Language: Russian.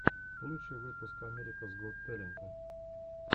лучший выпуск америкас гот тэлента